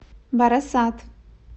барасат